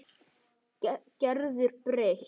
Gerður breytt.